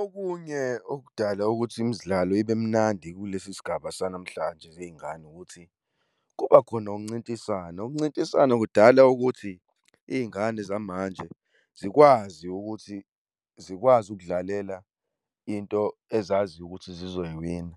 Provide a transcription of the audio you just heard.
Okunye okudala ukuthi imidlalo ibe mnandi kulesi sigaba sanamhlanje zey'ngane ukuthi kuba khona ukuncintisana. Ukuncintisana kudala ukuthi iy'ngane zamanje zikwazi ukuthi zikwazi ukudlalela into ezaziyo ukuthi zizoyiwina.